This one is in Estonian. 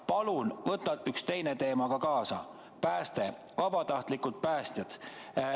Palun võta ka üks teine teema kaasa: pääste, vabatahtlikud päästjad.